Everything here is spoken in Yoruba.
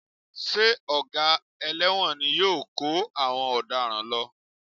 Ṣé Ọ̀gá ẹlẹ́wọ̀n ni yóò kó àwọn ọ̀daràn lọ?